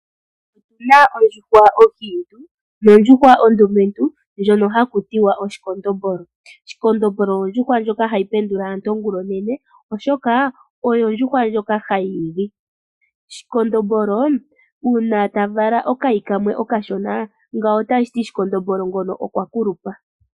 Opena Ondjuhwa onkiintu , nondjuhwa ondumentu ndjono ha ku tiwa, oshikondombolo. Shikondombolo ondjuhwa ndjoka ha yi pendula aantu ongula onene, oshoka oyo ondjuhwa ndjoka ha yi igi. Shikondombolo uuna ta vala okayi kamwe okashona, ngawo otashiti, shikondombolo ngono okwa kulupa.